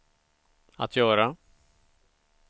att göra